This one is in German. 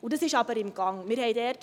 Dies ist aber in Gange.